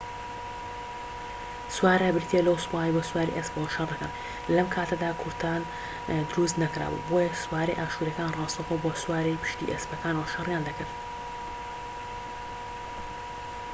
سوارە بریتیە لەو سوپایەی بە سواری ئەسپەوە شەڕ دەکەن لەم کاتەدا کورتان دروست نەکرابوو بۆیە سوارەی ئاشوریەکان ڕاستەوخۆ بە سواری پشتی ئەسپەکانەوە شەریان دەکرد